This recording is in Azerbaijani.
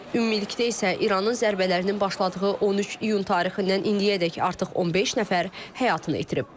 Ümumilikdə isə İranın zərbələrinin başladığı 13 iyun tarixindən indiyədək artıq 15 nəfər həyatını itirib.